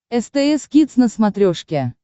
стс кидс на смотрешке